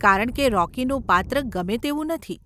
કારણ કે રોકીનું પાત્ર ગમે તેવું નથી.